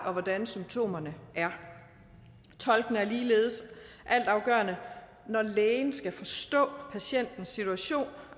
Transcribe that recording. og hvordan symptomerne er tolken er ligeledes altafgørende når lægen skal forstå patientens situation